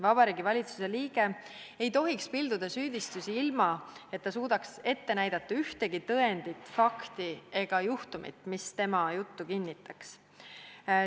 Vabariigi Valitsuse liige ei tohiks pilduda süüdistusi, ilma et ta suudaks ette näidata ühtegi tõendit, nimetada ühtki fakti ega juhtumit, mis tema juttu kinnitaks.